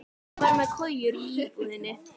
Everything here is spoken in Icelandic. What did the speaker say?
Ég var með kojur í íbúðinni.